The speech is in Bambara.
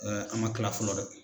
an man kila fɔlɔ dɛ.